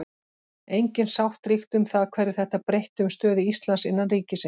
Engin sátt ríkti um það hverju þetta breytti um stöðu Íslands innan ríkisins.